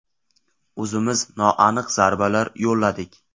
O‘zimiz noaniq zarbalar yo‘lladik.